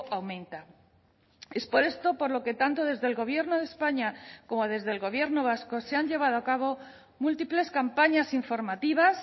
aumenta es por esto por lo que tanto desde el gobierno de españa como desde el gobierno vasco se han llevado a cabo múltiples campañas informativas